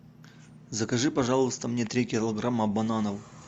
закажи пожалуйста мне три килограмма бананов